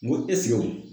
N go